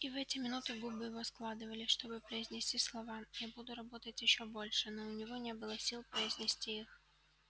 и в эти минуты губы его складывались чтобы произнести слова я буду работать ещё больше но у него уже не было сил произнести их